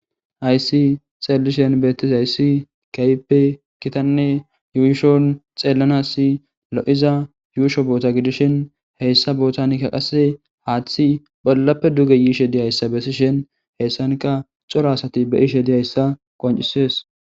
Haysi xeellishen beettis hayssi kaype kitanne yuuyishon xeellanasi lo7iza yuusho boota gidishin heyssa bootanikka qasse haaththi bollappe duge yiishe diyayssa bessishen heessanka cora asati be iishe diyayssa qoncisees